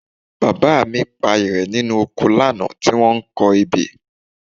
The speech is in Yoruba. Bàbá mi pa ìrẹ̀ nínú oko lánàá tí wọ́n ń kọ ebè